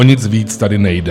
O nic víc tady nejde.